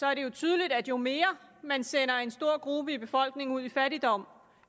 er det tydeligt at jo mere man sender en stor gruppe i befolkningen ud i fattigdom